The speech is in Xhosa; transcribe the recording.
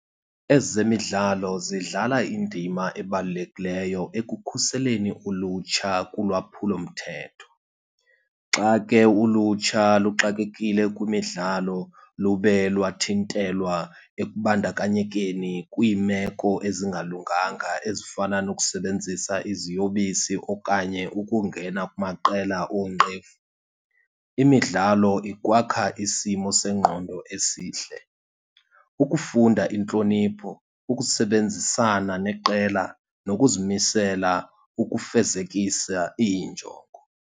Ezemidlalo zidlala indima ebalulekileyo ekukhuseleni ulutsha kulwaphulomthetho. Xa ke ulutsha luxakekile kwimidlalo lube lwathintelwa ekubandakanyekeni kwiimeko ezingalunganga ezifana nokusebenzisa iziyobisi okanye ukungena kumaqela oonqevu. Imidlalo ikwakha isimo sengqondo esihle, ukufunda intlonipho, ukusebenzisana neqela nokuzimisela ukufezekisa iinjongo.